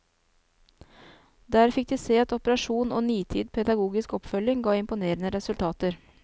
Der fikk de se at operasjon og nitid pedagogisk oppfølging ga imponerende resultater.